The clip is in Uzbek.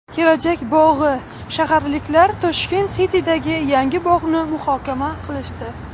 Kelajak bog‘i: shaharliklar Tashkent City’dagi yangi bog‘ni muhokama qilishdi.